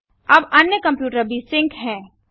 अब अन्य कंप्यूटर भी सिंक है